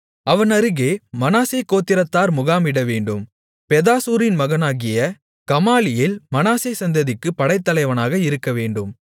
அவன் அருகே மனாசே கோத்திரத்தார் முகாமிடவேண்டும் பெதாசூரின் மகனாகிய கமாலியேல் மனாசே சந்ததிக்குப் படைத்தலைவனாக இருக்கவேண்டும்